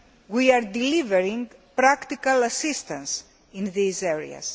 We are delivering practical assistance in these areas.